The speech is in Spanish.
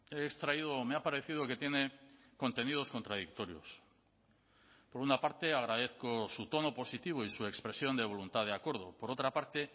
he extraído o me ha parecido que tiene contenidos contradictorios por una parte agradezco su tono positivo y su expresión de voluntad de acuerdo por otra parte